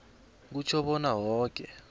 kutjho bona woke